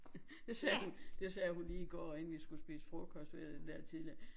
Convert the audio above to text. Det sagde det sagde hun lige i går inden vi skulle spise frokost ved den der tidligere